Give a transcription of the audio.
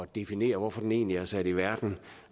definere hvorfor den egentlig er sat i verden